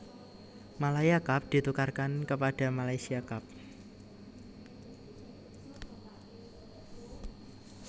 Malaya Cup ditukarkan kepada Malaysia Cup